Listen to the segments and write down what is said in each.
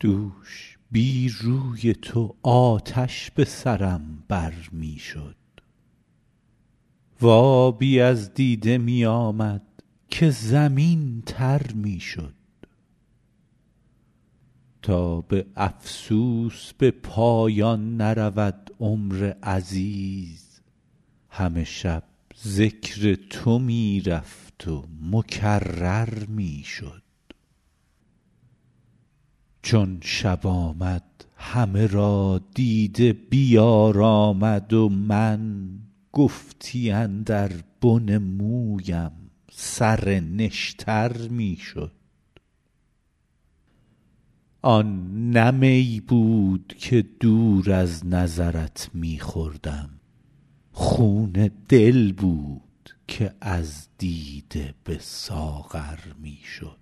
دوش بی روی تو آتش به سرم بر می شد و آبی از دیده می آمد که زمین تر می شد تا به افسوس به پایان نرود عمر عزیز همه شب ذکر تو می رفت و مکرر می شد چون شب آمد همه را دیده بیارامد و من گفتی اندر بن مویم سر نشتر می شد آن نه می بود که دور از نظرت می خوردم خون دل بود که از دیده به ساغر می شد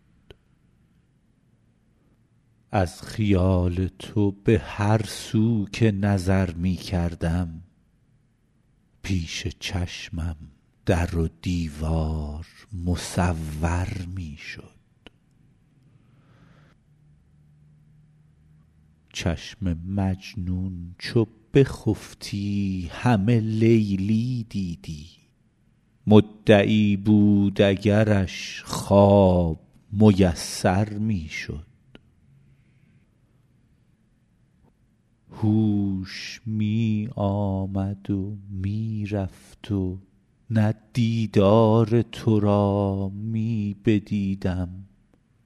از خیال تو به هر سو که نظر می کردم پیش چشمم در و دیوار مصور می شد چشم مجنون چو بخفتی همه لیلی دیدی مدعی بود اگرش خواب میسر می شد هوش می آمد و می رفت و نه دیدار تو را می بدیدم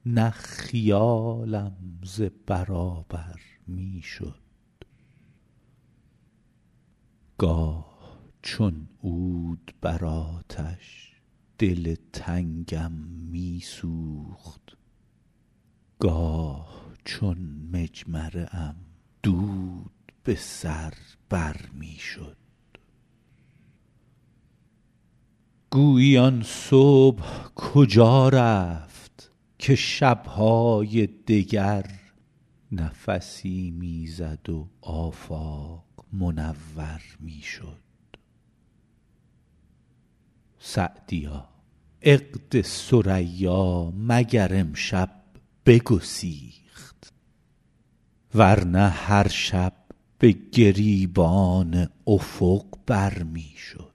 نه خیالم ز برابر می شد گاه چون عود بر آتش دل تنگم می سوخت گاه چون مجمره ام دود به سر بر می شد گویی آن صبح کجا رفت که شب های دگر نفسی می زد و آفاق منور می شد سعدیا عقد ثریا مگر امشب بگسیخت ور نه هر شب به گریبان افق بر می شد